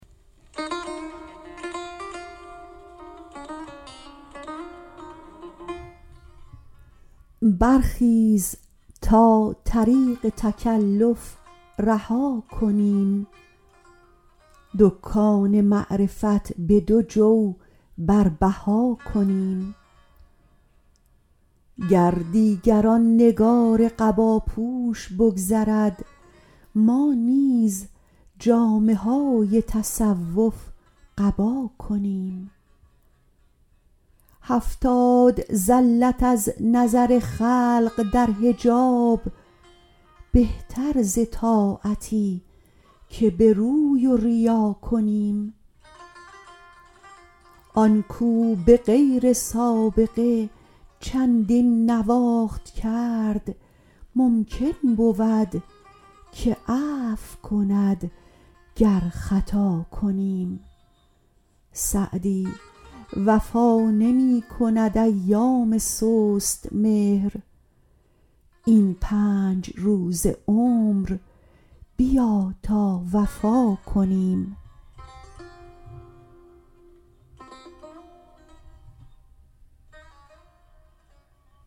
برخیز تا طریق تکلف رها کنیم دکان معرفت به دو جو بر بها کنیم گر دیگر آن نگار قباپوش بگذرد ما نیز جامه های تصوف قبا کنیم هفتاد زلت از نظر خلق در حجاب بهتر ز طاعتی که به روی و ریا کنیم آن کاو به غیر سابقه چندین نواخت کرد ممکن بود که عفو کند گر خطا کنیم سعدی وفا نمی کند ایام سست مهر این پنج روز عمر بیا تا وفا کنیم